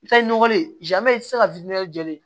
I taa ni nɔgɔlen i tɛ se ka jɔlen ye